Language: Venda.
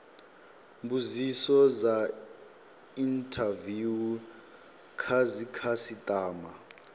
mbudziso dza inthaviwu kha dzikhasitama